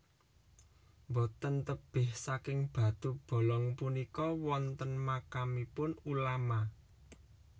Boten tebih saking batu Bolong punika wonten makamipun ulama